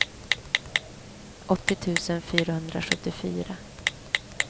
åttio tusen fyrahundrasjuttiofyra